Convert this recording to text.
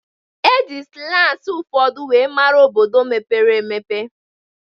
E ji slangi ụfọdụ were mara obodo mepere emepe